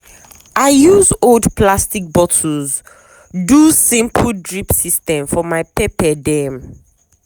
i use old plastic bottles do simple drip system for my pepper them.